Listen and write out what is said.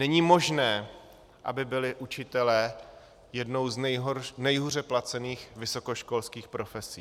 Není možné, aby byli učitelé jednou z nejhůře placených vysokoškolských profesí.